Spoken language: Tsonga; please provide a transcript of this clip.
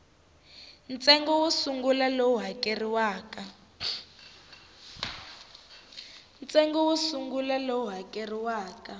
ntsengo wo sungula lowu hakeriwaka